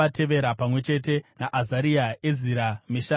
pamwe chete naAzaria, Ezira, Mesharami,